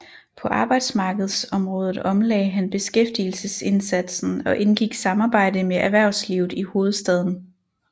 På arbejdsmarkedsområdet omlagde han beskæftigelsesindsatsen og indgik samarbejde med erhvervslivet i hovedstaden